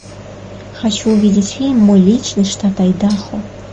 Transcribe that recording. хочу увидеть фильм мой личный штат айдахо